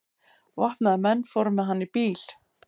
Vopnaðir menn fóru með hann í bíl.